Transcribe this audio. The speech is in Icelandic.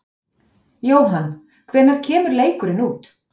Jóhann: Hvenær kemur leikurinn út?